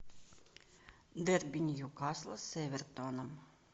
дерби ньюкасла с эвертоном